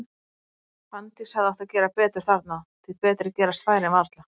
Fanndís hefði átt að gera betur þarna, því betri gerast færin varla.